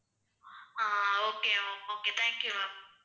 Ah okay ma'am okay thank you ma'am.